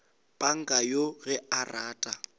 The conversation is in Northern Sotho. panka yoo ge a rata